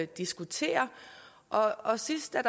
diskuterer og sidst da